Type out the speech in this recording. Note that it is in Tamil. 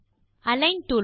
align toolbar